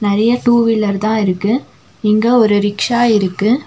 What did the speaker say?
நறைய two wheeler தா இருக்கு இங்க ஒரு ரிக்ஷா இருக்கு.